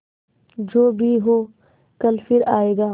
जो भी हो कल फिर आएगा